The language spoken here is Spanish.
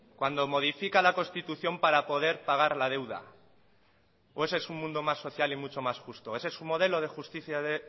cuando modifica la constitución para poder pagar la deuda o ese es un mundo más social y mucho más justo ese es su modelo de justicia